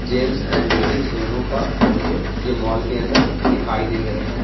Gents and ladies दोनों का मुझे ये मॉल के अंदर दिखाई दे रहे हैं।